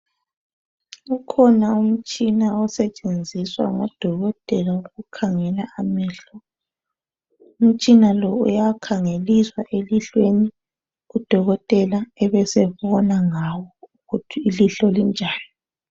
Ukhona umtshina osetshenziswa ngodokotela ukukhangela amehlo. Umtshina lo uyakhangeliswa elihlweni, udokotela ebesebona ngawo ukuthi ilihlo linjani.